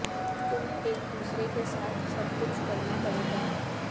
تم ایک دوسرے کے ساتھ سب کچھ کرنا پڑے گا